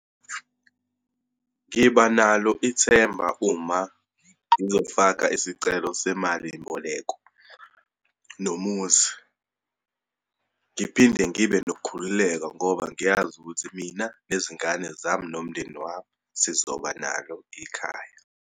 Ngibanalo ithemba uma ngizofaka isicelo semalimboleko nomuzi. Ngiphinde ngibe nokukhululeka ngoba ngiyazi ukuthi mina nezingane zami, nomndeni wami, sizoba nalo ikhaya.